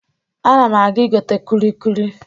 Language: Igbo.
Ana m aga igote kulikuli.